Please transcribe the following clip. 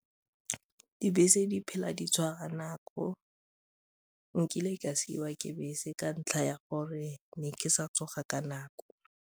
Dibese di phela di tshwara nako, nkile ka siiwa ke bese ka ntlha ya gore ne ke sa tsoga ka nako.